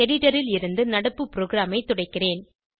editor ல் இருந்து நடப்பு ப்ரோகிராமை துடைக்கிறேன்